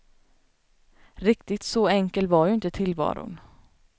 Riktigt så enkel var ju inte tillvaron.